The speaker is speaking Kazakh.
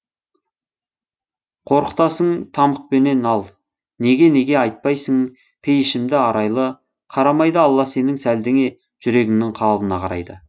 қорқытасың тамұқпенен ал неге неге айтпайсың пейішімді арайлы қарамайды алла сенің сәлдеңе жүрегіңнің қалыбына қарайды